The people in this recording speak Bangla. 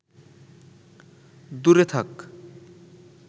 দূরে থাক